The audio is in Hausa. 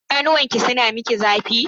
Idanuwanki suna miki zafi?